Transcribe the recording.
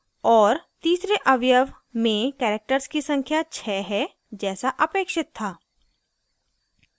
और तीसरे अवयव में characters की संख्या 6 है जैसा अपेक्षित था